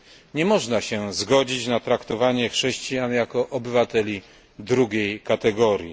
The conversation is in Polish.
Nie można się zgodzić na traktowanie chrześcijan jako obywateli drugiej kategorii.